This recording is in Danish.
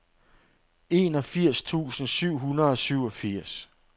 enogfirs tusind syv hundrede og syvogfirs